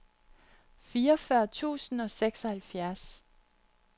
fireogfyrre tusind og seksoghalvfjerds